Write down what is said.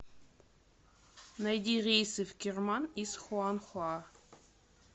найди рейсы в керман из хуанхуа